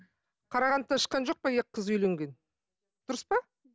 қарағандыдан шыққан жоқ па екі қыз үйленген дұрыс па